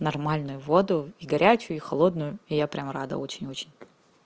нормальную воду и горячую и холодную я прям рада очень-очень